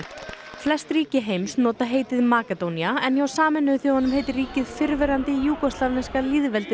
flest ríki heims nota heitið Makedónía en hjá Sameinuðu þjóðunum heitir ríkið fyrrverandi júgóslavneska lýðveldið